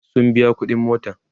sun biya ƙuɗin motan